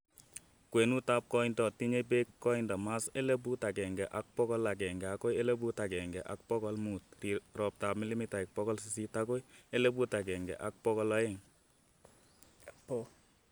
kwenutap koindo - tinyei peek, koindo:masl elpuut agenge ak pokol egenge agoi elpuut agenge ak pokol muut, roptap milimitaik pokol sisit agoi elpuut agenge ak pokol aeng